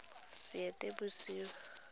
seetebosego